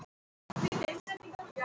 Ekki langt að fara sem betur fer.